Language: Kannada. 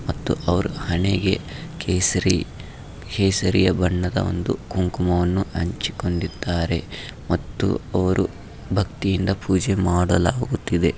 ಮತ್ತು ಅವರು ಹಣೆಗೆ ಕೇಸರಿ ಕೆಳಸರಿಯ ಬಣ್ಣದ ಕುಂಕುಮವನ್ನು ಹಂಚಿಕೊಂಡ್ಡಿದ್ದರೆ ಮತ್ತು ಅವರು ಭಕ್ತಿಯಿಂದ ಪೂಜೆ ಮಾಡಲಾಗುತ್ತಿದೆ .